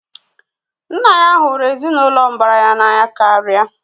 Nna ya na hụrụ ezinụlọ mbara ya n'anya karịa